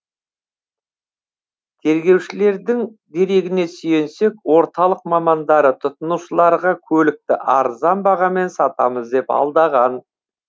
тергеушілердің дерегіне сүйенсек орталық мамандары тұтынушыларға көлікті арзан бағамен сатамыз деп алдаған